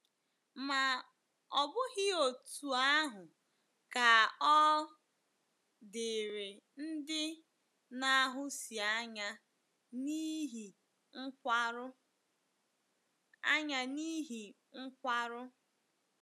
Ma ọ bụghị otú ahụ ka ọ dịrị ndị na-ahụsi anya n’ihi nkwarụ. anya n’ihi nkwarụ.